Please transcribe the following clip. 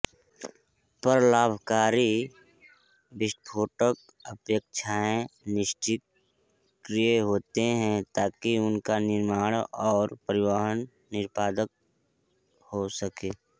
पर लाभकारी विस्फोटक अपेक्षया निष्क्रिय होते हैं ताकि उनका निर्माण और परिवहन निरापद हो सके